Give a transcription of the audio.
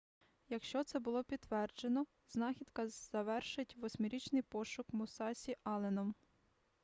якщо це буде підтверджено знахідка завершить восьмирічний пошук мусасі алленом